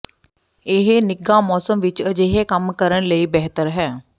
ਇਹ ਨਿੱਘਾ ਮੌਸਮ ਵਿੱਚ ਅਜਿਹੇ ਕੰਮ ਕਰਨ ਲਈ ਬਿਹਤਰ ਹੈ